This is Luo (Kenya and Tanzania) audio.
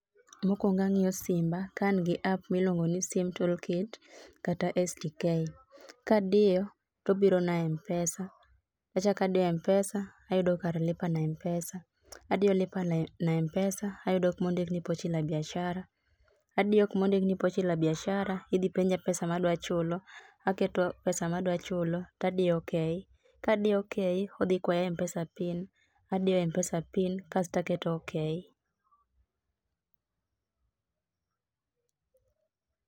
Mokwongo ang'io simba ka angi app milwongo ni sim toolkit kata stk. Kadio tobiro na e Mpesa, achaka dio Mpesa ayudo kar lipa na Mpesa, adio lipa na e na Mpesa ayudo kumo ndik ni pochi la biashara, adio kumo ndikni pochi la biashara, idhi penja pesa madwachulo, aketo pesa madwa chulo tadio okay. Kadio okay, odhi kwaya Mpesa pin, adio Mpesa pin kasta keto okay.